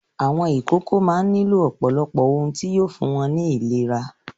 Àwọn ìkókó máa ń nílò ọ̀pọ̀lọpọ̀ ohun tí yóò fún wọn ní ìlera.